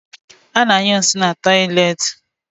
Ana anyụ nsị na tọiletị